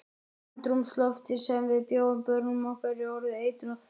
Andrúmsloftið sem við bjóðum börnum okkar er orðið eitrað.